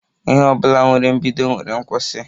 Ihe ọbụla nwere mbido nwere nkwụsi